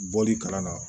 Bɔli kalan na